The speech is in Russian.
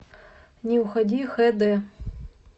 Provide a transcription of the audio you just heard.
не уходи хэ дэ